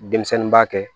Denmisɛnnin b'a kɛ